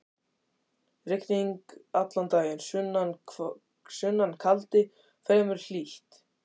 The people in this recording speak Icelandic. Rigning allan daginn, sunnan kaldi, fremur hlýtt.